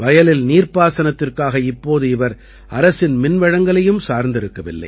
வயலில் நீர்ப்பாசனத்திற்காக இப்போது இவர் அரசின் மின்வழங்கலையும் சார்ந்திருக்கவில்லை